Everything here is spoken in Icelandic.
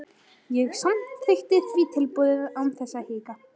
Ég samþykkti því tilboðið án þess að hika.